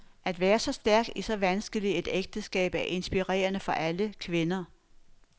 At være så stærk i så vanskeligt et ægteskab er inspirerende for alle kvinder.